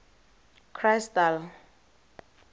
crystal